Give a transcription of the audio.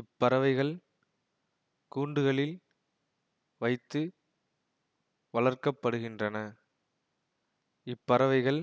இப்பறவைகள் கூண்டுகளில் வைத்து வளர்க்க படுகின்றன இப்பறவைகள்